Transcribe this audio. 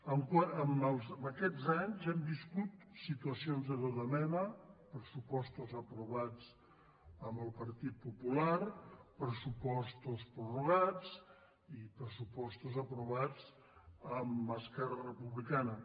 en aquests anys hem viscut situacions de tota mena pressupostos aprovats amb el partit po·pular pressupostos prorrogats i pressupostos aprovats amb esquerra republicana